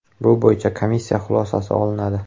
Bu bo‘yicha komissiya xulosasi olinadi.